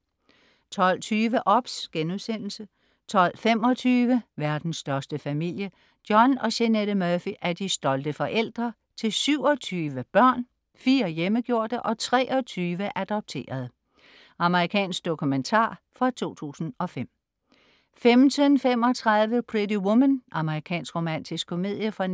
12.20 OBS* 12.25 Verdens største familie. John og Jeanette Murphy er de stolte forældre - til 27 børn, fire hjemmegjorte og 23 adopterede. Amerikansk dokumentar fra 2005 15.35 Pretty Woman. Amerikansk romantisk komedie fra 1990*